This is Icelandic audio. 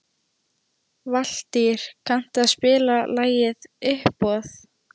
Valtýr, kanntu að spila lagið „Uppboð“?